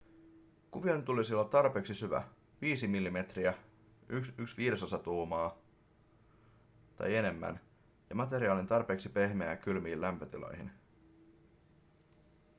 kuvion tulisi olla tarpeeksi syvä 5 mm 1/5 tuumaa tai enemmän ja materiaalin tarpeeksi pehmeä kylmiin lämpötiloihin